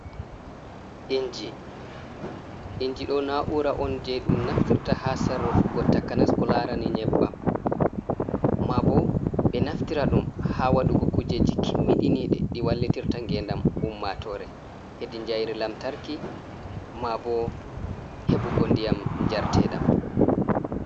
Inji, inji ɗo na'ura on jei ɗum naftirta ha sarrufugo takanas ko larani nyebbam, ma bo ɓe naftira ɗum ha waɗugo kujeji kimmiɗiniɗe ɗi wallitirta ngendam ummatore hedi jayri lamtarki, ma bo heɓugo ndiyam njarteɗam.